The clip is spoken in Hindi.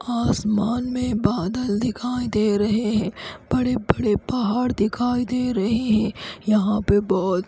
आसमान में बादल दिखाई दे रहे है बड़े बड़े पहाड़ दिखाई दे रहे है यहाँ पे बोहोत --